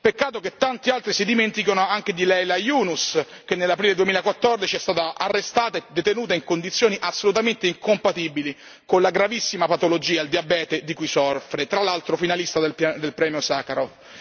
Peccato che tanti altri si dimenticano anche di Leyla Yunus, che nell'aprile 2014, è stata arrestata e detenuta in condizioni assolutamente incompatibili con la gravissima patologia, il diabete di cui soffre, tra l'altro finalista del premio Sakharov.